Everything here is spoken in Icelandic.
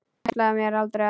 Ég ætlaði mér aldrei að.